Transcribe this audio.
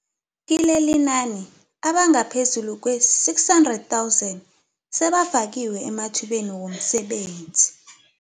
Kilelinani, abangaphezulu kwee-600 000 sebafakiwe emathubeni womsebenzi.